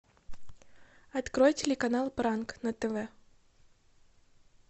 открой телеканал пранк на тв